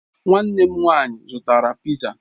Nwanne m nwanyị zụtara piza.